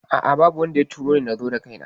A'a babu wanda ya turoni nazo da kaina